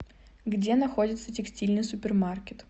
где находится текстильный супермаркет